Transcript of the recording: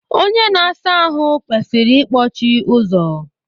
Onye na asa ahụ kwesịrị ikpọchi ụzọ.